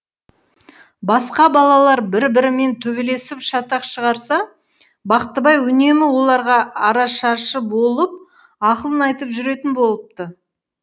басқа балалар бір бірімен төбелесіп шатақ шығарса бақтыбай үнемі оларға арашашы болып ақылын айтып жүретін болыпты